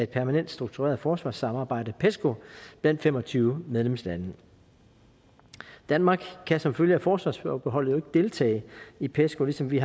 permanent struktureret forsvarssamarbejde pesco blandt fem og tyve medlemslande danmark kan som følge af forsvarsforbeholdet jo ikke deltage i pesco ligesom vi